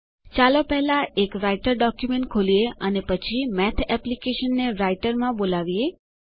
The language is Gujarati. ચાલો પહેલા એક રાઈટર ડોક્યુમેન્ટ ખોલીએ અને પછી મેથ એપ્લીકેશનને રાઈટરમાં બોલાવીએ